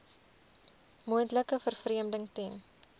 moontlike vervreemding ten